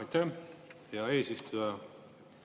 Aitäh, hea eesistuja!